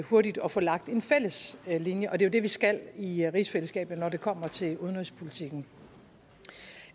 hurtigt og få lagt en fælles linje og det er jo det vi skal i rigsfællesskabet når det kommer til udenrigspolitikken